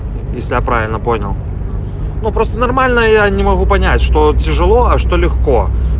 если я правильно понял ну просто нормально я не могу понять что тяжело а что легко